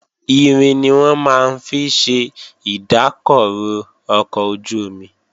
Irin ni wọ́n máa ń fi ṣe ìdákọrò ọkọ̀ ojú-omi